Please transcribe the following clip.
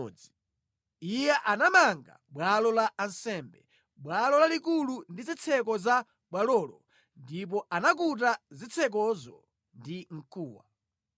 Iye anapanga bwalo la ansembe, bwalo lalikulu ndi zitseko za bwalolo ndipo anakuta zitsekozo ndi mkuwa.